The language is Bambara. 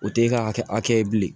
O t'e ka kɛ hakɛ ye bilen